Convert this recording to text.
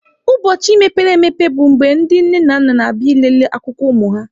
Ụbọchị mepere emepe bụ mgbe ndị nne na nna na-abịa ịlele akwụkwọ ụmụ ha.